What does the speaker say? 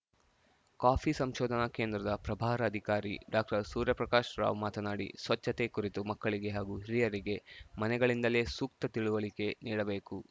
coffee ಸಂಶೋಧನಾ ಕೇಂದ್ರದ ಪ್ರಭಾರ ಅಧಿಕಾರಿ ಡಾಕ್ಟರ್ ಸೂರ್ಯಪ್ರಕಾಶ್‌ ರಾವ್‌ ಮಾತನಾಡಿ ಸ್ವಚ್ಛತೆ ಕುರಿತು ಮಕ್ಕಳಿಗೆ ಹಾಗೂ ಹಿರಿಯರಿಗೆ ಮನೆಗಳಿಂದಲೇ ಸೂಕ್ತ ತಿಳುವಳಿಕೆ ನೀಡಬೇಕು